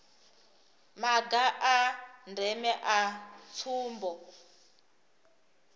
maga a ndeme a tsumbo